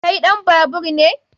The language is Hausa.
Kai ɗan babaur ne?